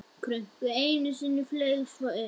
Krunkaði einu sinni og flaug svo upp.